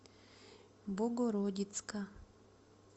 богородицка